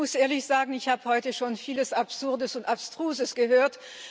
Ich muss ehrlich sagen Ich habe heute schon viel Absurdes und Abstruses gehört.